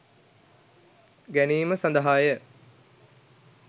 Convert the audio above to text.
ගැනීම සඳහා ය.